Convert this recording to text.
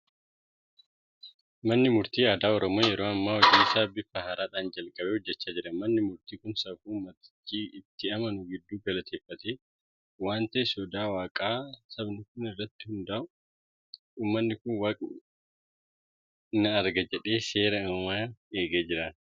Manni murtii aadaa Oromoo yeroo ammaa hojii isaa bifa haaraadhaan jalqabee hojjechaa jira. Manni murtii kun safuu uummatichi itti amanu giddu galeeffatee waan ta'eef sodaa Waaqaa sabni kun qabu irratti hundaa'a. Uummanni kun waaqni na arga jedhee seera uumaa eegee jiraata.